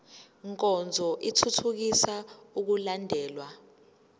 nkonzo ithuthukisa ukulandelwa